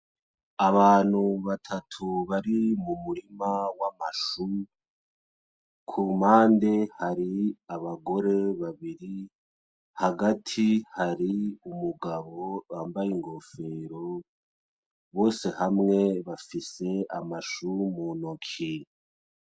Abantu batatu bari mu murima wa mashu. Ku mpande hari abagore babiri, hagati hari umugabo wambaye inkofero, bose hamwe bafise amashu mu ntoki.